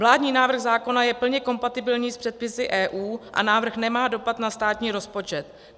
Vládní návrh zákona je plně kompatibilní s předpisy EU a návrh nemá dopad na státní rozpočet.